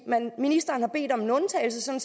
ministeren har bedt om en undtagelse så